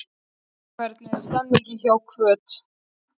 Hvernig er stemningin hjá Hvöt?